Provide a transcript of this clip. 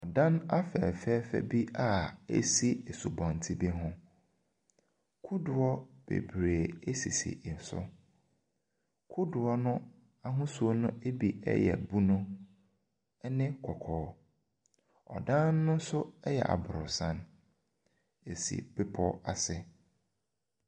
Dan afɛfɛɛfɛ bi a ɛsi asubɔntene bi ho. Kodoɔ bebree sisi so. Kodoɔno ahosuo no bi yɛ bunu ne kɔkɔɔ. Ɔdan no nso yɛ aborosan. Ɛsi bepɔ ase.